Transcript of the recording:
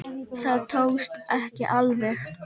Það tókst ekki alveg.